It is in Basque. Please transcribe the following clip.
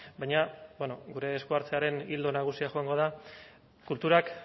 baina bueno gure eskuhartzearen ildo nagusia joango da kulturak